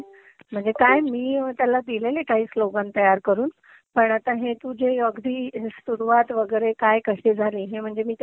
म्हणजे काये, मी त्याला दिलेलेय काही स्लोगन तयार करून पण आता हे तू जे अगदी सुरुवात वेगेरे काय कशी झाली